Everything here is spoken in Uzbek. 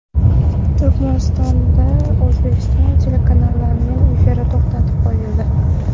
Turkmanistonda O‘zbekiston telekanallarining efiri to‘xtatib qo‘yildi.